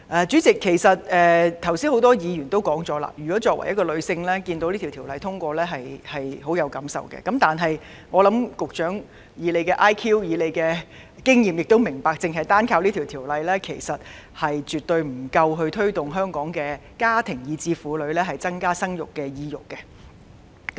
主席，剛才多位議員也曾表示，作為女性而能看見《條例草案》獲得通過，會有很深感受，但我認為，以局長的 IQ 和經驗，應該明白到，單憑《條例草案》，是絕對不足以提升香港的家庭或婦女增加生育的意欲。